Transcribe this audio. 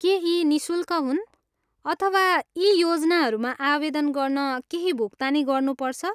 के यी निःशुल्क हुन् अथवा यी योजनाहरूमा आवेदन गर्न केही भुक्तानी गर्नुपर्छ?